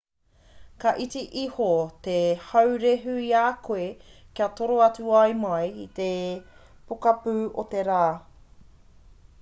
ka iti iho te haurehu i a koe ka toro atu ai mai i te pokapū o te rā